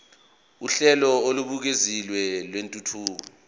uhlelo olubukeziwe lwentuthuko